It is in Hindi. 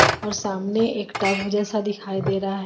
और सामने एक टब जैसा दिखाई दे रहा है.